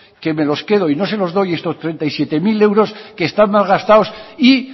que me los quedo y no se los doy estos treinta y siete mil euros que están malgastados y